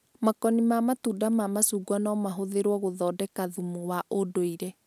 Makoni ma matunda ma macungwa no mahũthĩrwo gũthondeka thumu wa ũndũire